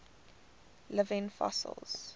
living fossils